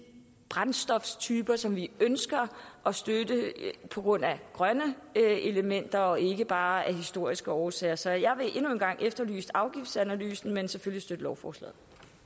brændstoftyper som vi ønsker at støtte på grund af grønne elementer og ikke bare af historiske årsager så jeg vil endnu en gang efterlyse afgiftsanalysen men selvfølgelig støtte lovforslaget